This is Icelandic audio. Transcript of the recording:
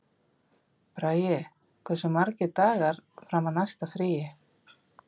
Bragi, hversu margir dagar fram að næsta fríi?